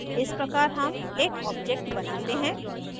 इस प्रकार हम एक object बनाते हैं